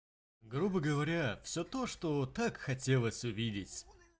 грубо говоря всё то что так хотелось увидеть